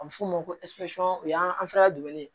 A bɛ f'o ma ko o y'an